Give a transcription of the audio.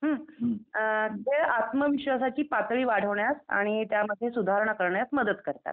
हुं खेळ आत्मविश्वासाची पातळी वाढवण्यात आणि त्यामध्ये सुधारणा करण्यात मदत करतात.